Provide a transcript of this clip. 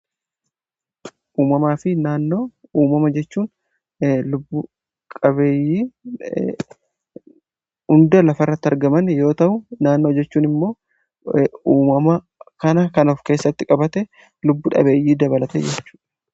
uumamaa fi naannoo uumama jechuun lubbu qabeeyyii hunda lafa irrati argaman yoo ta'u naannoo jechuun immoo uumama kana kan of keessatti qabate lubbuu dhabeeyyii dabalatee jechudha.